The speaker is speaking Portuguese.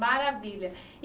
Maravilha. E